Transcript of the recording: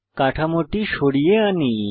কাঠামোটি সরিয়ে আনি